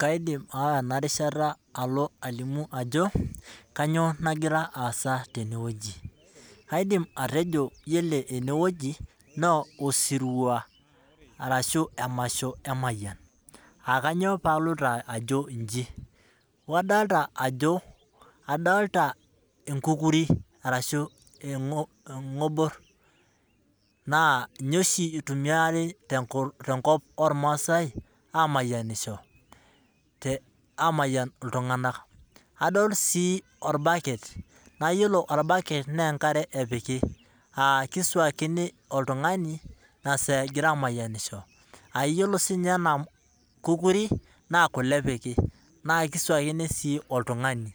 kaidim aawa ena rishata alo alimu ajo kaniyioo nagira aasa tenewueji. kaidim atejo ore ene wueji na osirua. arashu emasho emayian.aa kainyioo pee aloito aj iji, adoolta enkukuri arashu egobor. naa ninye oshi itumiari tenkop oormaasae, aamayianisho, amayian iltunganak, adol sii orbaket, na iyiolo orbaket naa enkare epiki.aa kisuakini. oltuungani inasaa egira aamayianisho.aa iyiolo sii ninye ena kukuri naa kule epiki. naa kisuakini sii oltungani.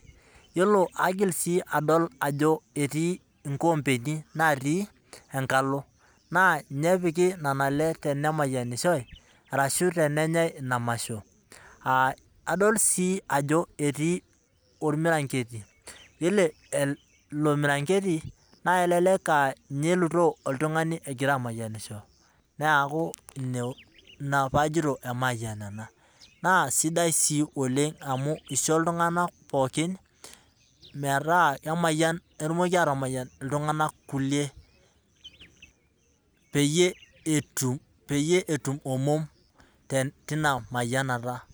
iyiolo aigil sii adol ajo etii nkoompeni natii enkalo. naa ninye epiki nena le tenemayianishoi arsu tenenyae ina masho.aa adol sii ajo etii ormiranketi, eile ilo miranketi naa elelek aa ninye elutoo oltungani egirae aamyianisho. neku ina pee ajito emayian ena.na sidai sii oleng amu isho iltunganak pookin metaa emayian, etumoki aatamayian iltungank kulie pyie etum omm teina mayianata.